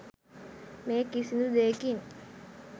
මේ කිසිදු දේකින්